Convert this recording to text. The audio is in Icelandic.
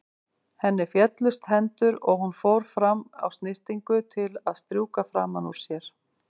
Henni féllust hendur og hún fór fram á snyrtingu til að strjúka framan úr sér.